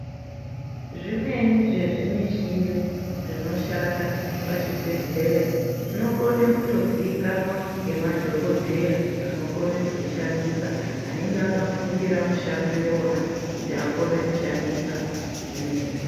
Zvimweni zvezvimishini zvinoshanda pachibhedhlera zvinokone kundoziikanwa ngemadhogodheya anokone kuzvishandisa anenge akafundira mushando iwona kuti akone kushandisa zvimweni.